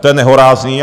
To je nehorázné!